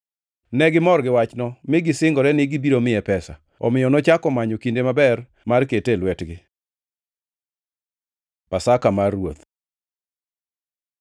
Negimor gi wachno, mi gisingore ni gibiro miye pesa. Omiyo nochako manyo kinde maber mar kete e lwetgi. Pasaka mar Ruoth